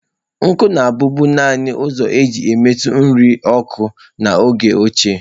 Nkụ na-abụbu naanị ụzọ e ji emetu nri oku n’oge ochie.